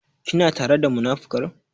Kina tare da munafukan?